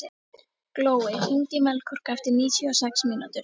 Glói, hringdu í Melkorku eftir níutíu og sex mínútur.